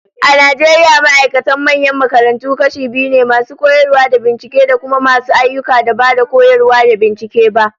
A Najeriya ma'aikatan manyan makarantu kashi biyu ne, masu koyarwa da binciken, da kuma masu ayyukan da ba koyarwa da bincike ba